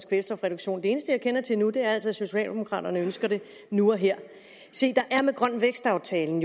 kvælstofreduktion det eneste jeg kender til nu er altså at socialdemokraterne ønsker det nu og her se der er med grøn vækst aftalen